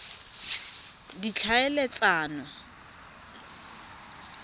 ditlhaeletsano